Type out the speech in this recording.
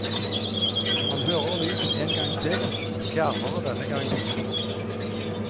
Man hører lyden en gang til, fjernere denne gangen.